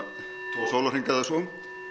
tvo sólarhringa eða svo